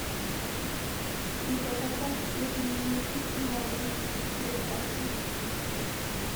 заказать фирменную пиццу на дом с доставкой